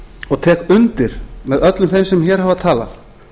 og tek undir með öllum þeim sem hér hafa talað